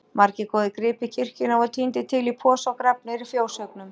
Margir góðir gripir kirkjunnar voru tíndir til í posa og grafnir í fjóshaugnum.